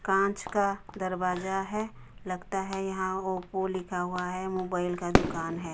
कांच का दरवाजा है लगता है यहां ओप्पो लिखा हुआ है मोबाइल का दुकान है।